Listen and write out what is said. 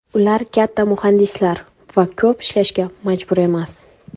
Ular katta muhandislar va ko‘p ishlashga majbur emas.